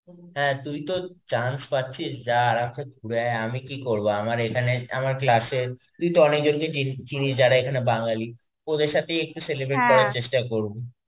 হ্যাঁ, তুই তো chance পাছিস যা ঘুরে আয় আমি কি করবো আমার এখানেই আমার class এ তুই তো অনেকজনকে চিনিস যারা এখানে বাঙালি ওদের সাথেই একটু celebrate করার চেষ্টা করবো.